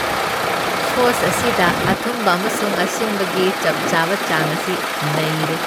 Sauce ꯑꯁꯤꯗ ꯑꯊꯨꯝꯕ ꯑꯃꯁꯨꯡ ꯑꯁꯤꯟꯕꯒꯤ ꯆꯞ ꯆꯥꯕ ꯆꯥꯡ ꯑꯁꯤ ꯅꯩꯔꯦ꯫